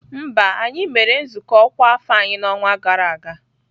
Mba, anyị mere nzukọ ọkwa afọ anyị n'ọnwa gara aga.